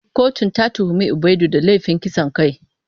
Kotun ta tuhumi Ubaidu da laifin kisan kai.